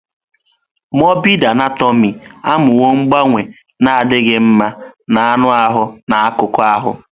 Mọrbịd Anatomị amụwo mgbanwe na-adịghị mma na anụ ahụ na akụkụ ahụ.